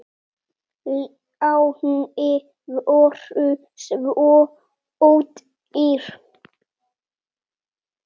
Lánin voru svo ódýr.